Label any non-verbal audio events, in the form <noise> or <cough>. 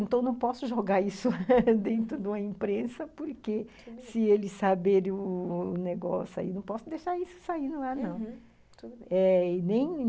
Então, não posso jogar isso <laughs> dentro de uma imprensa, porque se eles saberem o o negócio aí, não posso deixar isso saindo lá, não, uhum, tudo bem. E nem